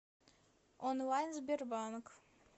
онлайн сбербанк